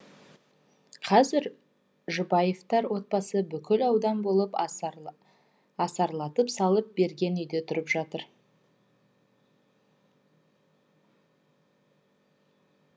қазір жұбаевтар отбасы бүкіл аудан болып асарлатып салып берген үйде тұрып жатыр